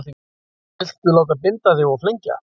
Vill láta binda sig og flengja